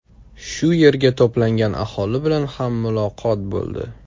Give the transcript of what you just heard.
Shu yerga to‘plangan aholi bilan ham muloqot bo‘ldi.